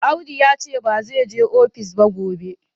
Audu ya ce ba zai je ofis ba gobe.